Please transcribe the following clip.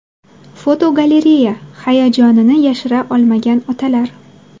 Fotogalereya: Hayajonini yashira olmagan otalar.